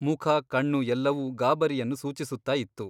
ಮುಖ ಕಣ್ಣು ಎಲ್ಲವೂ ಗಾಬರಿಯನ್ನು ಸೂಚಿಸುತ್ತ ಇತ್ತು.